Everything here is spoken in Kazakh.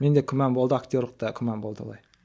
менде күмән болды актерлікте күмән болды олай